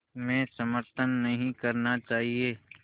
में समर्थन नहीं करना चाहिए